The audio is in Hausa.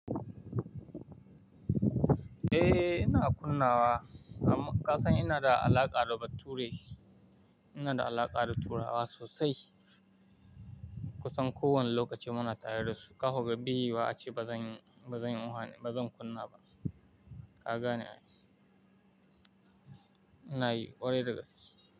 Eh, ina kunna wa amma ka san ina da alaƙa da ba turai. Ina da alaƙa da turawa sosai. Kusan kowane lokaci muna tare da su. Ka ga ko bai yi wiyu wa ace bazan, bazan uha ne, bazan kunna ba. Ka gane? Inayi ƙwarai da gaske.